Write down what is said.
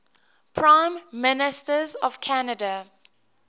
prime ministers of canada